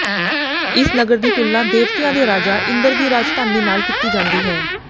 ਇਸ ਨਗਰ ਦੀ ਤੁਲਨਾ ਦੇਵਤਿਆਂ ਦੇ ਰਾਜਾ ਇੰਦਰ ਦੀ ਰਾਜਧਾਨੀ ਨਾਲ ਕੀਤੀ ਜਾਂਦੀ ਹੈ